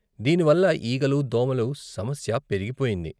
దీని వల్ల ఈగలు, దోమల సమస్య పెరిగిపోయింది.